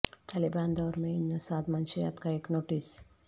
طالبان دور میں انسداد منشیات کا ایک نوٹس